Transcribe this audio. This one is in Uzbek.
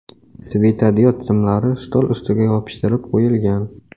Svetodiod simlari stol ostiga yopishtirib qo‘yilgan.